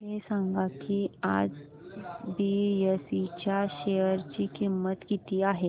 हे सांगा की आज बीएसई च्या शेअर ची किंमत किती आहे